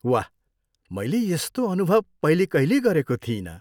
वाह। मैले यस्तो अनुभव पहिले कहिल्यै गरेको थिइनँ।